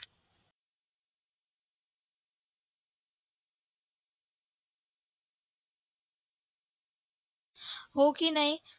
हो की नाही